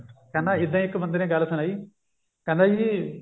ਕਹਿੰਦਾ ਇੱਦਾਂ ਹੀ ਇੱਕ ਬੰਦੇ ਨੇ ਗੱਲ ਸੁਣਾਈ ਕਹਿੰਦਾ ਜੀ